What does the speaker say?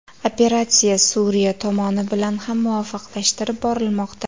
Operatsiya Suriya tomoni bilan ham muvofiqlashtirib borilmoqda.